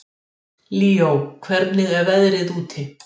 Líó, hvernig er veðrið úti?